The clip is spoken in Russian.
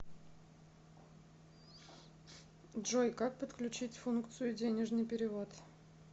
джой как подключить функцию денежный перевод